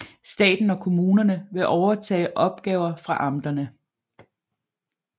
Staten og kommunerne vil overtage opgaver fra amterne